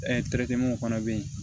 fana bɛ yen